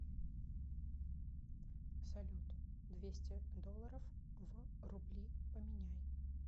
салют двести долларов в рубли поменяй